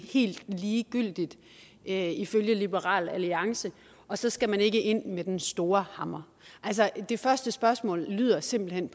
helt ligegyldigt ifølge liberal alliance og så skal man ikke ind med den store hammer altså det første spørgsmål lyder simpelt hen